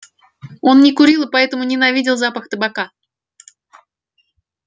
он не курил и поэтому ненавидел запах табака